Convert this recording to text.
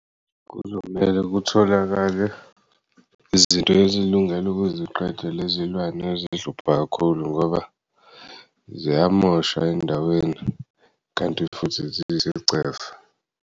Kuzomele kutholakale izinto ezilungele ukuziqeda lezilwane ezihlupha kakhulu ngoba ziyamosha endaweni kanti futhi zisiyisicefe.